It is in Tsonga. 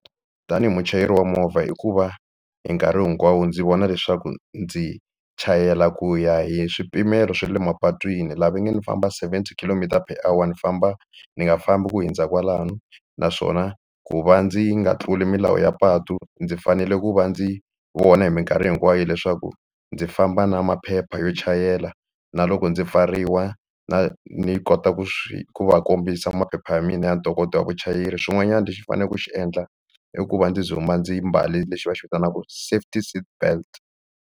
Tanihi muchayeri wa movha i ku va hi nkarhi hinkwawo ndzi vona leswaku ndzi chayela ku ya hi swipimelo swa le mapatwini laha va nga ni famba seventy kilometer per hour ni famba ni nga fambi ku hundza kwalano naswona ku va ndzi nga tluli milawu ya patu ndzi fanele ku va ndzi vona hi mikarhi hinkwayo leswaku ndzi famba na maphepha yo chayela na loko ndzi pfariwa na ni kota ku swi ku va kombisa maphepha ya mina ya ntokoto wa vuchayeri xin'wanyana lexi ni faneleke ku xi endla i ku va ndzi ndzumba ndzi mbale lexi va xi vitanaka safety seatbelt.